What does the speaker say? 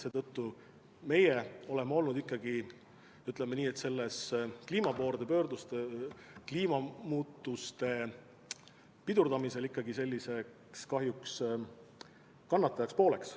Seetõttu me oleme olnud, ütleme nii, kliimamuutuste pidurdamisel kahjuks kannataja pool.